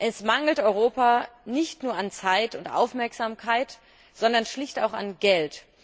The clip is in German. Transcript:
Es mangelt Europa nicht nur an Zeit und Aufmerksamkeit, sondern schlicht auch an Geld.